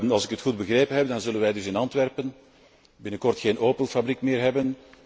Als ik het goed begrepen heb, dan zullen wij dus in Antwerpen binnenkort geen Opel fabriek meer hebben.